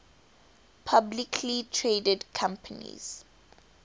publicly traded companies